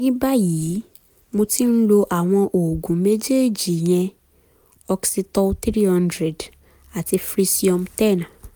ní báyìí mo ti ń lo àwọn oògùn méjèèjì ìyẹn oxetol three hundred àti frisium ten